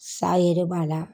Sa yɛrɛ b'a la.